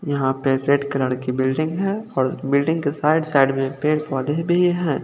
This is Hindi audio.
यहां पे रेड कलर की बिल्डिंग है और बिल्डिंग के साइड साइड में पेड़ पौधे भी है।